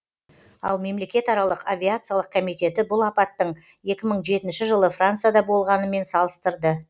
ал мемлекетаралық авиациялық комитеті бұл апаттың екі мың жетінші жылы францияда болғанымен салыстырды